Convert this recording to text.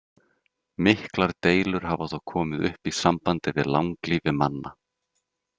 Miklar deilur hafa þó komið upp í sambandi við langlífi manna.